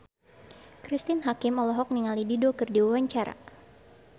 Cristine Hakim olohok ningali Dido keur diwawancara